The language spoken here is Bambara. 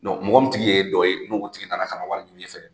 mɔgɔ min tigi ye e dɔ ye n'o tigi nana ka na wari ɲini i fɛ